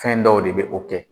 Fɛn dɔw de be o kɛ